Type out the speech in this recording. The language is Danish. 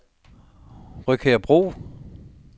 Rødkærsbro